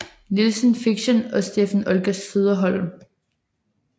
Nilsen Fiction og Steffen Olga Søderholm